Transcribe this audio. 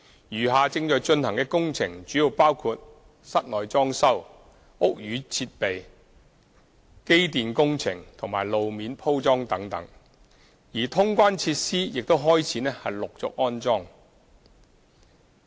餘下正在進行的工程主要包括室內裝修、屋宇設備、機電工程及路面鋪裝等，而通關設施亦已開始陸續安裝。